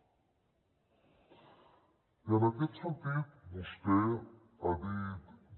i en aquest sentit vostè ha dit